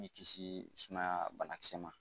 b'i kisi sumaya banakisɛ ma.